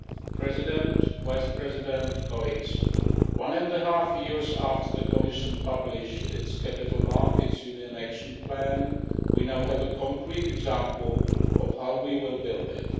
Mr President, Vice President, colleagues, one and a half years after the Commission published its Capital Markets Union Action Plan, we now have a concrete example of how we will build it.